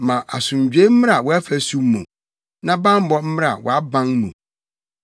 Ma asomdwoe mmra wʼafasu mu na bammɔ mmra wʼaban mu.”